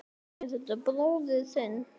Er þetta bróðir þinn?